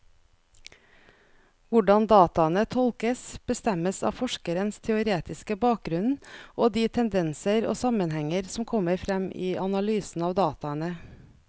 Hvordan dataene tolkes, bestemmes av forskerens teoretiske bakgrunnen og de tendenser og sammenhenger som kommer frem i analysen av dataene.